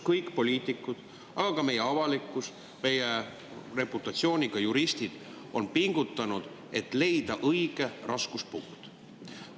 Kõik poliitikud, aga ka avalikkus, meie reputatsiooniga juristid on pingutanud, et leida õige raskuspunkt.